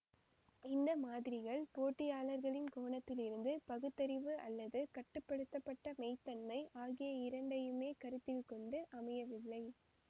இந்த மாதிரிகள் போட்டியாளர்களின் கோணத்திலிருந்து பகுத்தறிவு அல்லது கட்டு படுத்த பட்ட மெய்த்தன்மை ஆகிய இரண்டையுமே கருத்தில் கொண்டு அமையவில்லை